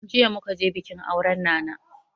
Jiya muka je bikin auren nana